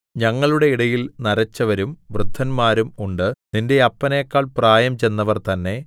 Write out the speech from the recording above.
ഞങ്ങളുടെ ഇടയിൽ നരച്ചവരും വൃദ്ധന്മാരും ഉണ്ട് നിന്റെ അപ്പനേക്കാൾ പ്രായം ചെന്നവർ തന്നെ